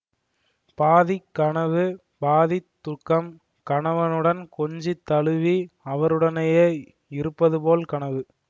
பாதிக் கனவு பாதித் தூக்கம் கணவனுடன் கொஞ்சித் தழுவி அவருடனேயே இருப்பதுபோல் கனவு